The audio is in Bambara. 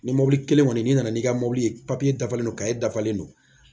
Ni mobili kelen kɔni n'i nana n'i ka mobili ye papiye dafalen don e dafalen don